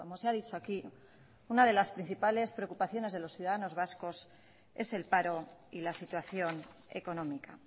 se ha dicho aquí una de las principales preocupaciones de los ciudadanos vascos es el paro y la situación económica